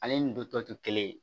Ale ni don tɔ te kelen ye